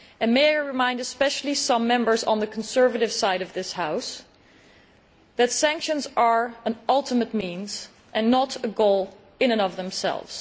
May I remind some Members on the conservative side of this House especially, that sanctions are an ultimate means and not a goal in and of themselves.